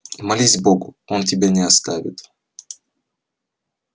молись богу он тебя не оставит